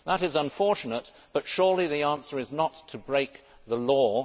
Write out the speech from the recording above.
That is unfortunate, but surely the answer is not to break the law.